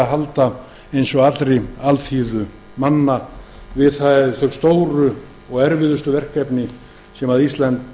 halda eins og allri alþýðu manna við þau stóru og erfiðustu verkefni sem